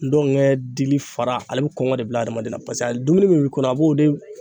Ngɔnkɛ dili fara ale bɛ kɔngɔ de bila adamaden na paseke a dumuni min b'i kɔnɔ a b'o de